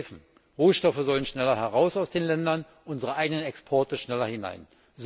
neue Häfen Rohstoffe sollen schneller heraus aus den Ländern, unsere eigenen Exporte schneller hinein.